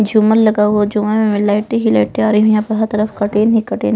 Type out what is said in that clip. झूमर लगा हुआ है झूमर में मैं लाइटे ही लाइट है और यहाँ पर हर तरफ कर्टेन ही कर्टेन --